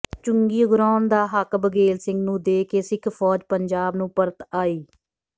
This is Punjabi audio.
ਚੁੰਗੀ ਉਗਰਾਹੁਣ ਦਾ ਹੱਕ ਬਘੇਲ ਸਿੰਘ ਨੂੰ ਦੇ ਕੇ ਸਿੱਖ ਫੌਜ ਪੰਜਾਬ ਨੂੰ ਪਰਤ ਆਈ